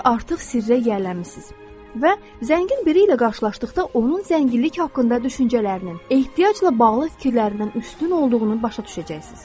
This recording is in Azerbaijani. Siz artıq sirrə yiyələnmisiniz və zəngin biri ilə qarşılaşdıqda onun zənginlik haqqında düşüncələrinin, ehtiyacla bağlı fikirlərindən üstün olduğunu başa düşəcəksiniz.